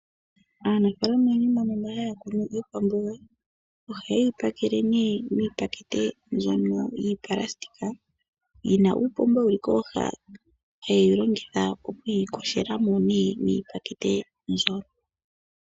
Aanafalama oyendji mbono haya kunu iikwamboga ohayeyi pakele miipakete mbyono yoonayilona yina uupomba wuli kooha haye wu longitha okuyi yogela mo miipakete mbyo.